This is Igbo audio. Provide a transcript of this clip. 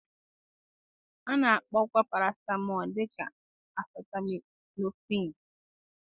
A na-akpọkwa paracetamol dị ka acetaminophen.